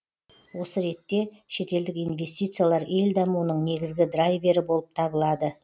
осы ретте шетелдік инвестициялар ел дамуының негізгі драйвері болып табылады